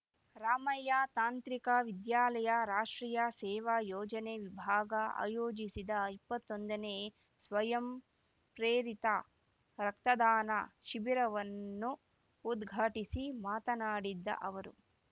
ರಾಮಯ್ಯ ತಾಂತ್ರಿಕ ವಿದ್ಯಾಲಯ ರಾಷ್ಟ್ರೀಯ ಸೇವಾ ಯೋಜನೆ ವಿಭಾಗ ಆಯೋಜಿಸಿದ್ದ ಇಪ್ಪತ್ತೊಂದನೇ ಸ್ವಯಂ ಪ್ರೇರಿತ ರಕ್ತದಾನ ಶಿಬಿರವನ್ನು ಉದ್ಘಾಟಿಸಿ ಮಾತನಾಡಿದ್ದ ಅವರು